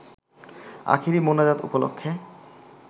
আখেরি মোনাজাত উপলক্ষে